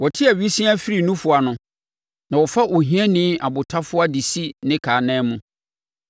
Wɔte awisiaa firi nufoɔ ano; na wɔfa ohiani abotafoa de si ne ka anan mu.